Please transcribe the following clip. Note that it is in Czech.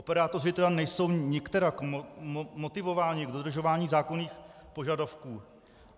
Operátoři tedy nejsou nikterak motivováni k dodržování zákonných požadavků.